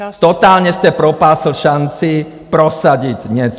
Totálně jste propásl šanci prosadit něco!